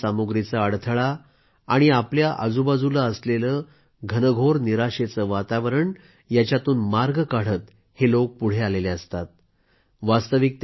मर्यादित साधन सामुग्रीचा अडथळा आणि आपल्या आजूबाजूला असलेले घनघोर निराशेचे वातावरण यांच्यातून मार्ग काढत हे लोक पुढं आलेले असतात